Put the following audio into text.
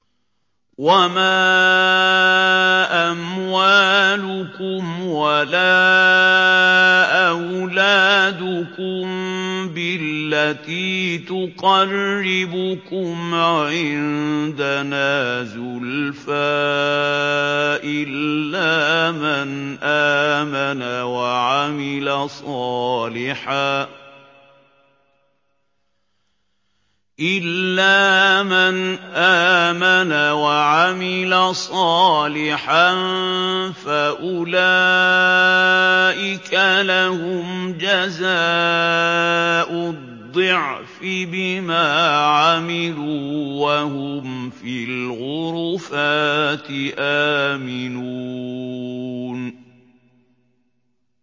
وَمَا أَمْوَالُكُمْ وَلَا أَوْلَادُكُم بِالَّتِي تُقَرِّبُكُمْ عِندَنَا زُلْفَىٰ إِلَّا مَنْ آمَنَ وَعَمِلَ صَالِحًا فَأُولَٰئِكَ لَهُمْ جَزَاءُ الضِّعْفِ بِمَا عَمِلُوا وَهُمْ فِي الْغُرُفَاتِ آمِنُونَ